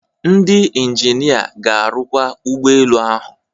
Ndị injinia ga-arụkwa ụgbọ elu ahụ